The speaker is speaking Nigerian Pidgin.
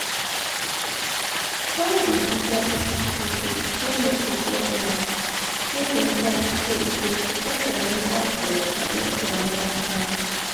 try da ginger people to people to go meet professional wey for help so e go support their mental health and make their mind calm.